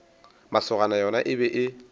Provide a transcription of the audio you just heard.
masogana yona e be e